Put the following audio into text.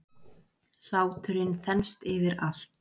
Hláturinn þenst yfir allt.